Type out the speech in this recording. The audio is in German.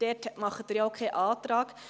Dazu stellt sie ja auch keinen Antrag.